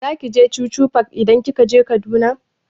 Zaki je chuchu park idan kika je Kaduna?